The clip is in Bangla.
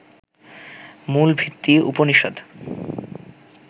মূল ভিত্তি উপনিষদ্